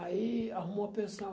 Aí arrumou a pensão.